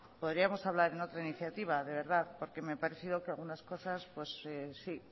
podríamos hablar en otra iniciativa de verdad porque me ha parecido que algunas cosas sí